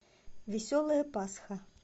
веселая пасха